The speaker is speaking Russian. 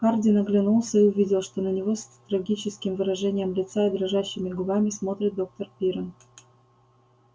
хардин оглянулся и увидел что на него с трагическим выражением лица и дрожащими губами смотрит доктор пиренн